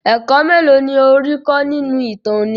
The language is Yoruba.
Ẹ̀kọ́ mélòó ni ó rí kọ́ nínú ìtàn òní?